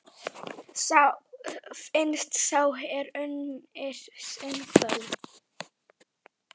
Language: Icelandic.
Finnst sá er unnir sinni kvöl?